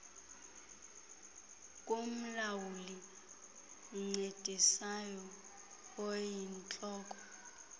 kumlawuli oncedisayo oyintloko